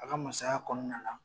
A ka masaya kɔnɔna la